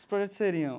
Os projetos seriam...